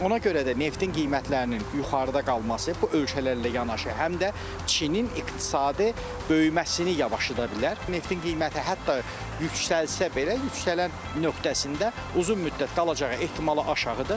Ona görə də neftin qiymətlərinin yuxarıda qalması bu ölkələrlə yanaşı, həm də Çinin iqtisadi böyüməsini yavaşıda bilər, neftin qiyməti hətta yüksəlsə belə, yüksələn nöqtəsində uzun müddət qalacağı ehtimalı aşağıdır.